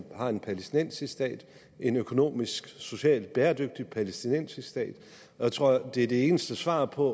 har en palæstinensisk stat en økonomisk socialt bæredygtig palæstinensisk stat jeg tror det er det eneste svar på